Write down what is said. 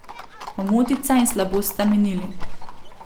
Omotica in slabost sta minili.